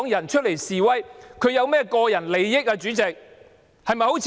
站出來示威的香港人有何個人得益呢？